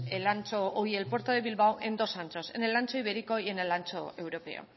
el puerto de bilbao en dos anchos en el ancho ibérico y en el ancho europeo